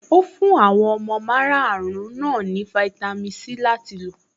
Ó fún àwọn ọmọ márùn-ún náà ní fáítámì Sí láti lò.